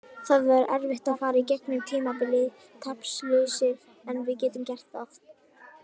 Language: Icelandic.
Það verður erfitt að fara í gegnum tímabilið taplausir en við getum gert það.